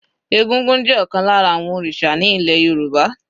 Egúngún jẹ́ ọ̀kan lára àwọn òrìṣà ní ilẹ̀ Yorùbá.